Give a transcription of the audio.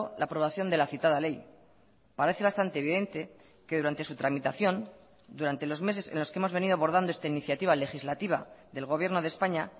la aprobación de la citada ley parece bastante evidente que durante su tramitación durante los meses en los que hemos venido abordando esta iniciativa legislativa del gobierno de españa